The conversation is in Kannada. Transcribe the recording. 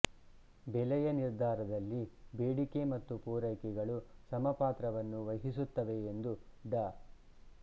ಬೆಲೆಯ ನಿರ್ಧಾರದಲ್ಲಿ ಬೇಡಿಕೆ ಮತ್ತು ಪೂರೈಕೆಗಳು ಸಮ ಪಾತ್ರವನ್ನು ವಹಿಸುತ್ತವೆಯೆಂದು ಡಾ